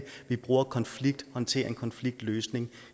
vi bruger konflikthåndtering og konfliktløsning